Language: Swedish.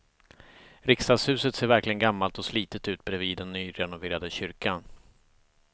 Riksdagshuset ser verkligen gammalt och slitet ut bredvid den nyrenoverade kyrkan.